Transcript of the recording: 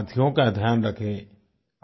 अपने साथियों का ध्यान रखें